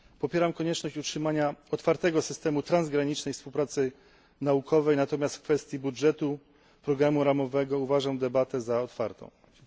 Popieram konieczność utrzymania otwartego systemu transgranicznej współpracy naukowej, natomiast kwestię budżetu programu ramowego uważam za otwartą debatę.